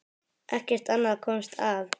Ekkert annað komst að.